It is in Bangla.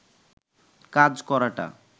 কাজ করাটা